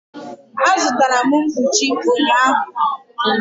Azụtara m mkpuchi ụnyahụ.